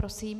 Prosím.